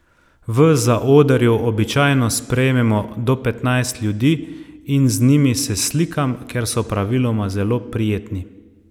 V zaodrju običajno sprejmemo do petnajst ljudi in z njimi se slikam, ker so praviloma zelo prijetni.